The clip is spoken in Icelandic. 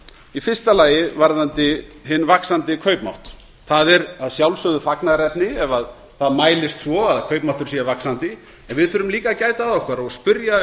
í fyrsta lagi varðandi hinn vaxandi kaupmátt það er að sjálfsögðu fagnaðarefni ef það mælist svo að kaupmáttur sé vaxandi en við þurfum líka að gæta að okkur og spyrja